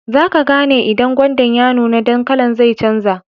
Zaka gane idan gwanda ya nuna, dan kala'n zai canja.